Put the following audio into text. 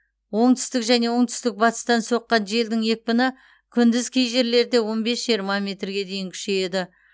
оңтүстік және оңтүстік батыстан соққан желдің екпіні күндіз кей жерлерде он бес жиырма метрге дейін күшейеді